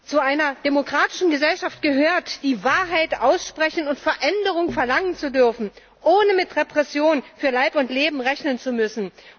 Zu einer demokratischen Gesellschaft gehört, die Wahrheit aussprechen und Veränderung verlangen zu dürfen, ohne mit Repression für Leib und Leben rechnen zu müssen.